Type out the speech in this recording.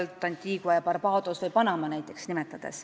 Nimetan näiteks Antigua ja Barbudat või Panamat.